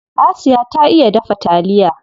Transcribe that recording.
Asiya ta iya dafa taliya.